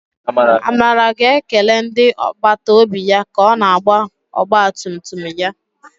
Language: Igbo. Amara ga-ekele ndị agbata obi ya ka ọ na-agba ọgba tum tum ya.